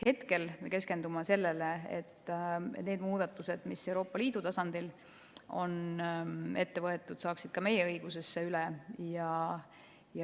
Hetkel me keskendume sellele, et need muudatused, mis Euroopa Liidu tasandil on tehtud, saaksid ka meie õigusesse üle võetud.